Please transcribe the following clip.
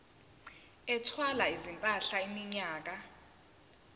ethwala izimpahla iminyaka